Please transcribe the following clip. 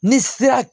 Ni sera